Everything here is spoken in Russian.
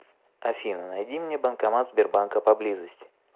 афина найди мне банкомат сбербанка поблизости